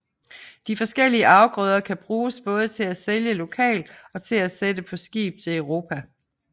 De forskellige afgrøder kan bruges både til at sælge lokalt og til at sætte på skib til Europa